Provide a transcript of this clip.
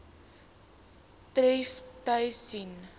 tref tus sen